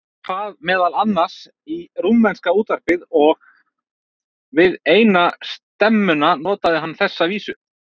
Hann kvað meðal annars í rúmenska útvarpið og við eina stemmuna notaði hann þessa vísu